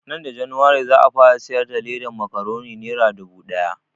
Nan da januwari za a fara siyar da ledan makuroni nera dubu ɗaya